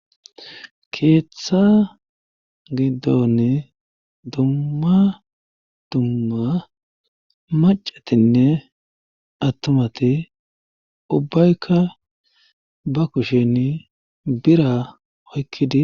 keeththa giddonni dumma dumma macatinne attumati ubbaykka ba kushen bira oykkidi